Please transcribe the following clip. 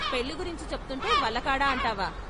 పెళ్ళిగురించి చెప్తుంటే వల్ల కాడా అంటావా?